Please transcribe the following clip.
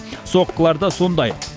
соққылары да сондай